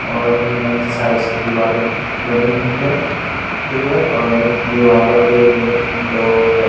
और जो है साइड से दीवालें बनी हुई हैं दीवालें पे दो व्यय --